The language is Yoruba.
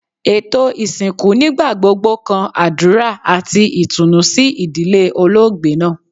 Eto isinku nigbagbogbo kan adura ati itunu si idile oloogbe naa